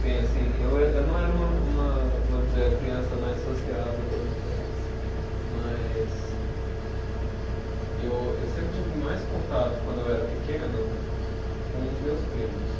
Bem, assim, eu eh, eu não era uma uma, vou dizer, a criança mais sociável do universo, mas eu eu sempre tive mais contato, quando eu era pequeno, com os meus primos.